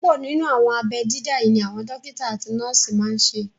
Púpọ̀ nínú àwọn abẹ́ dídá yí ni àwọn dókítà àti nọ́ọ̀sì máa n ṣe